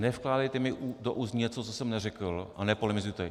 Nevkládejte mi do úst něco, co jsem neřekl, a nepolemizujte.